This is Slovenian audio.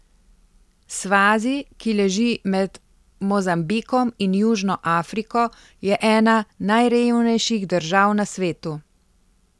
Svazi, ki leži med Mozambikom in Južno Afriko, je ena najrevnejših držav na svetu.